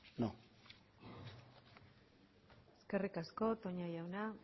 eskerrik asko toña jauna